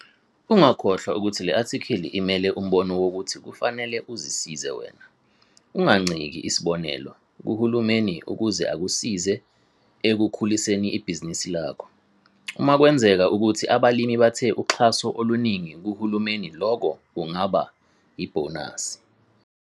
Ungakhohlwa ukuthi le athikhili imele umbono wokuthi kufanele uzisize wena. Unganciki isibonelo, kuhulumeni ukuze akusize ekukhuliseni ibhizinisi lakho. Uma kwenzeka ukuthi abalimi bathe uxhaso oluningi kuhulumeni lokho kungaba yibhonasi.